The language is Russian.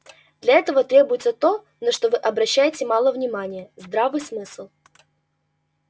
для этого требуется то на что вы обращаете мало внимания здравый смысл